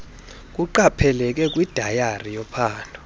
kuqapheleke kwidayari yophando